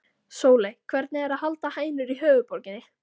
Sóley, hvernig er að halda hænur í höfuðborginni?